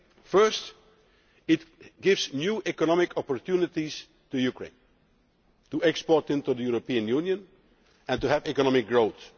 First, it gives new economic opportunities to Ukraine to export into the European Union and to have economic growth.